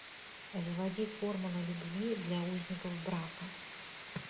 заводи формула любви для узников брака